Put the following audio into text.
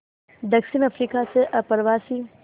दक्षिण अफ्रीका में अप्रवासी